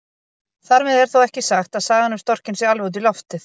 Þar með er þó ekki sagt að sagan um storkinn sé alveg út í loftið.